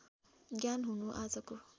ज्ञान हुनु आजको